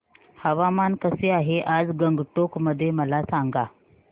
हवामान कसे आहे आज गंगटोक मध्ये मला सांगा